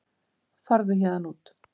Farðu héðan út.